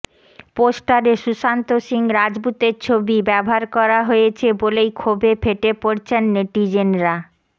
পোস্টারে সুশান্ত সিং রাজপুতের ছবি ব্যবহার করা হয়েছে বলেই ক্ষোভে ফেটে পড়েছেন নেটিজেনরা